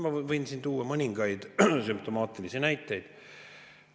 Ma võin siin tuua mõningaid sümptomaatilisi näiteid.